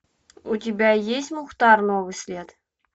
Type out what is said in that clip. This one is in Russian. у тебя есть мухтар новый след